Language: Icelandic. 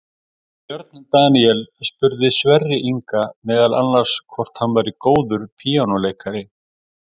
Björn Daníel spurði Sverri Inga meðal annars hvort hann væri góður píanóleikari.